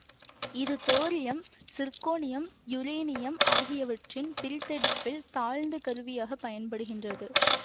இது thorium zirconium uranium ஆகியவற்றின் பிரித்தெடுப்பில் தாழ்த்து கருவியாகப் பயன்படுகின்றது